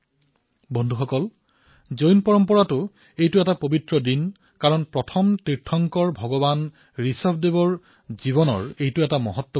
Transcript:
বন্ধুসকল জৈন পৰম্পৰা অনুসৰিও আজিৰ দিনটো অতিশয় পবিত্ৰ বুলি ভবা হয় কাৰণ প্ৰথম তীৰ্থাংকৰ ভগৱান ঋষভজেলৰ জীৱনৰ বাবে এয়া এক গুৰুত্বপূৰ্ণ দিন